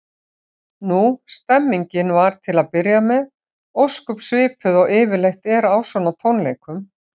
Nú, stemmningin var til að byrja með ósköp svipuð og yfirleitt er á svona tónleikum.